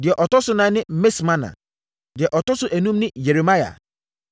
Deɛ ɔtɔ so ɛnan ne Mismana. Deɛ ɔtɔ so enum ne Yeremia.